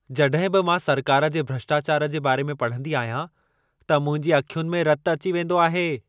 जड॒हिं बि मां सरकार जे भ्रष्टाचारु जे बारे में पढंदी आहियां, त मुंहिंजी अखियुनि में रत अची वेंदो आहे।